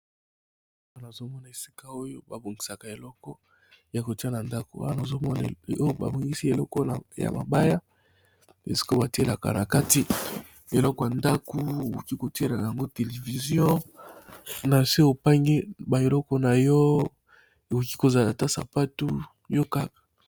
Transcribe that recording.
Namoni esika oyo, bazobongisa eloko ya kotia na ndaku